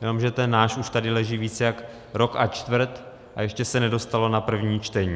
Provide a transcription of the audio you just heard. Jenomže ten náš už tady leží více jak rok a čtvrt a ještě se nedostalo na první čtení.